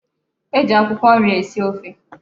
E ji akwụkwọ nri esi ofe.